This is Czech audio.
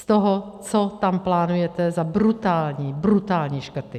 Z toho, co tam plánujete za brutální, brutální škrty.